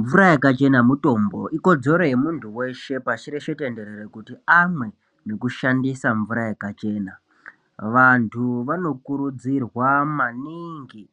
Mvura yakachena mutombo! Ikodzero yemuntu weshe pashi reshe tenderere kuti amwe nekushandisa mvura yakachena. Vantu vanokurudzirwa maningi